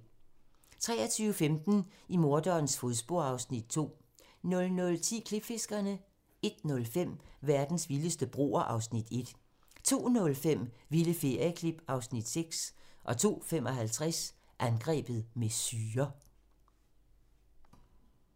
23:15: I morderens fodspor (Afs. 2) 00:10: Klipfiskerne 01:05: Verdens vildeste broer (Afs. 1) 02:05: Vilde ferieklip (Afs. 6) 02:55: Angrebet med syre